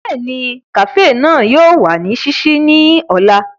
Bẹ́ẹ̀ni, kafee náà yóò wa ni ṣiṣii ni ọla.